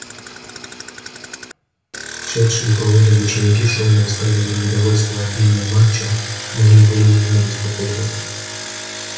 шедшие поодаль ученики шумно высказывали недовольство отменой матча многие были явно обеспокоены